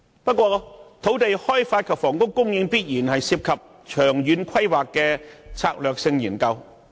不過，土地開發及房屋供應必然涉及長遠規劃的策略性研究。